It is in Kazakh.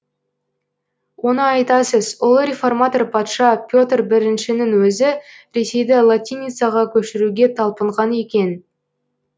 оны айтасыз ұлы реформатор патша петр біріншінің өзі ресейді латиницаға көшіруге талпынған екен